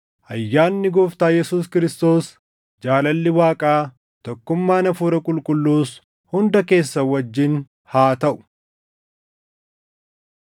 Ayyaanni Gooftaa Yesuus Kiristoos, jaalalli Waaqaa, tokkummaan Hafuura Qulqulluus hunda keessan wajjin haa taʼu.